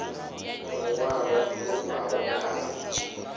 lu ṅwalo lu bvaho kha